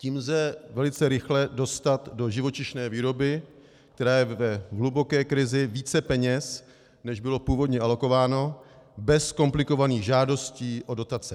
Tím lze velice rychle dostat do živočišné výroby, která je v hluboké krizi, více peněz, než bylo původně alokováno, bez komplikovaných žádostí o dotace.